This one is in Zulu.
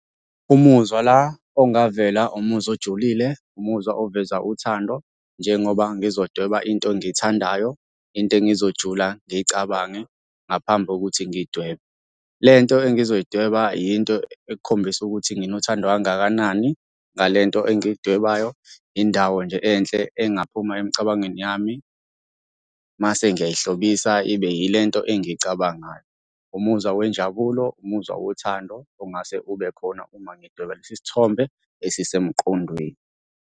Umuzwa la, ongavela umuzwa ojulile, umuzwa oveza uthando. Njengoba ngizodweba into engiyithandayo, into engizojula ngiyicabange ngaphambi kokuthi ngiyidwebe. Le nto engizoyidweba yinto ekukhombisa ukuthi nginothando kangakanani ngale nto engiyidwebayo, indawo nje enhle engaphuma emicabangweni yami. Mase ngiyayihlobisa ibe yile nto engiyicabangayo. Umuzwa wenjabulo, umuzwa wothando ongase ube khona uma ngidweba lesi sithombe esisemqondweni.